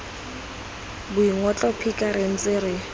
boingotlo phika re ntse re